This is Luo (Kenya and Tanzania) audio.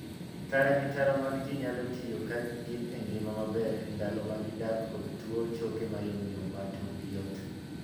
Tara gi tara mag jii nyalo tiyo ka gin e ngima maber e ndalo ma gidak kod tuo choke mayomyom ma turgi yot.